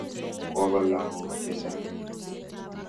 Kopa lagok che chang'.